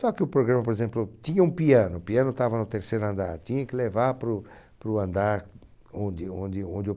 Só que o programa, por exemplo, tinha um piano, o piano estava no terceiro andar, tinha que levar para o para o andar onde onde onde eu